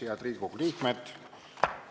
Head Riigikogu liikmed!